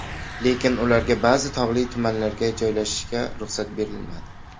Lekin ularga ba’zi tog‘li tumanlarga joylashishga ruxsat berilmadi.